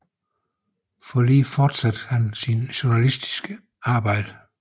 I Forli fortsatte han sit journalistiske arbejde